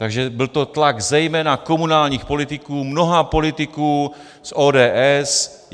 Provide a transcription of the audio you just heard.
Takže byl to tlak zejména komunálních politiků, mnoha politiků z ODS.